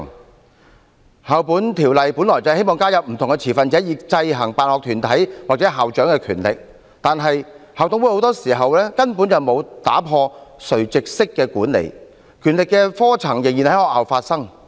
《2004年教育條例》本來希望加入不同的持份者，以制衡辦學團體或校長的權力，但校董會很多時候根本沒有打破垂直式的管理，權力的科層仍然在學校發生。